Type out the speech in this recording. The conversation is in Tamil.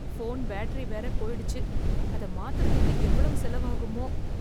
போன் பேட்டரி வேற போயிடுச்சு அதை மாத்துறதுக்கு எவ்வளவு செலவாகுமோ?